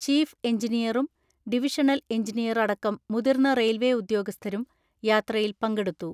Chief എഞ്ചിനീയറും divisional എഞ്ചിനീയറടക്കം മുതിർന്ന റെയിൽവെ ഉദ്യോഗസ്ഥരും യാത്രയിൽ പങ്കെടുത്തു.